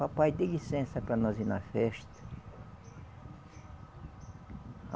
Papai, dê licença para nós ir na festa.